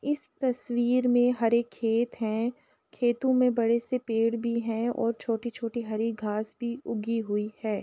इस तस्वीर में हरे खेत हैं। खेतों में बड़े से पेड़ भी हैं और छोटी-छोटी हरी घास भी उगी हुई है।